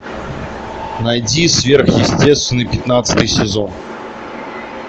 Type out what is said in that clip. найди сверхъестественное пятнадцатый сезон